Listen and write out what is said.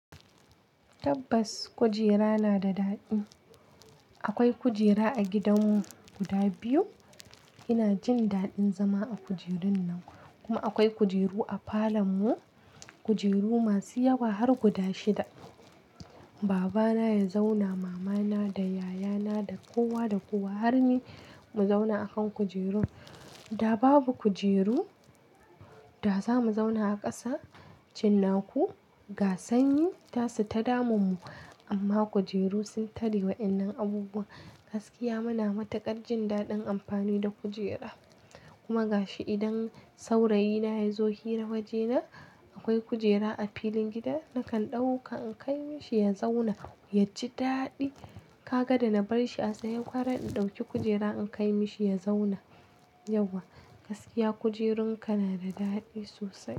Tabbas kujera na da daɗi. Akwai kujera a gidanmu guda biyu. Ina jin daɗin zama a kujerun nan. Kuma akwai kujeru a falon mu, kujeru masu yawa har guda shida. Baba na ya zauna, mama na da yayana da kowa da kuwa har ni mu zauna a kan kujerun. Da babu kujeru, da za mu zauna a ƙasa? Cinnaku, ga sanyi ta su ta damun mu. Amma kujeru sun tare wa waƴannan abubuwan. Gaskiya muna matuƙar jin daɗin amfani da kujera. Kuma ga shi idan saurayina ya zo hira waje na, akwai kujera a filin gida, nakan ɗauka in kai mishi ya zauna ya ji daɗi. Kaga da na bar shi a tsaye gwara in ɗauki kujera in kai mishi ya zauna. Yauwa, gaskiya kujerun ka na da daɗi sosai.